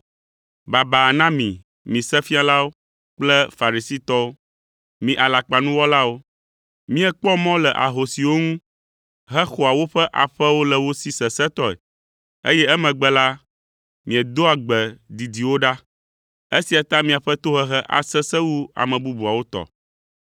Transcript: “Baba na mi, mi Sefialawo kple Farisitɔwo, mi alakpanuwɔlawo! Miekpɔ mɔ le ahosiwo ŋu hexɔa woƒe aƒewo le wo si sesẽtɔe, eye emegbe la, miedoa gbe didiwo ɖa! Esia ta miaƒe tohehe asesẽ wu ame bubuawo tɔ!